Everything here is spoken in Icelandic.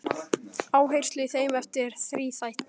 Áherslan í þeim efnum er þríþætt.